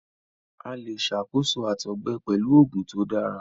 A le ṣakoso àtọgbẹ pẹlu oogun to dara